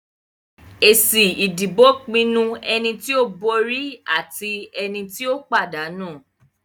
Èsì ìdìbò pinnu ẹni tí ó borí àti ẹni tí ó pàdánù.